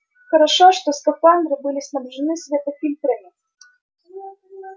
хорошо что скафандры были снабжены светофильтрами